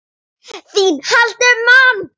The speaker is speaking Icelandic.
ÞÍN HALDI UM MANN!